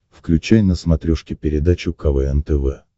включай на смотрешке передачу квн тв